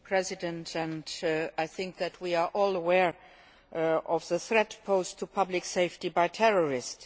Mr President, I think that we are all aware of the threat posed to public safety by terrorists.